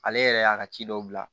Ale yɛrɛ y'a ka ci dɔw bila